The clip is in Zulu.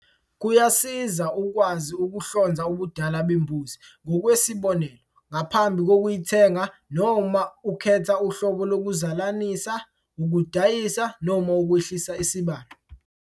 Kuyasiza ukwazi ukuhlonza ubudala bembuzi, ngokwesibonelo, ngaphambi kokuyithenga noma uma ukhetha uhlobo lokuzalanisa, ukudayisa noma ukwehlisa isibalo.